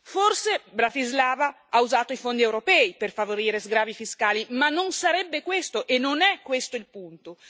Forse Bratislava ha usato i fondi europei per favorire sgravi fiscali, ma non sarebbe questo, e non è questo il punto.